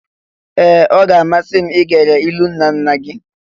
Ee! Ọ ga-amasị m igere ilu nna nna gị.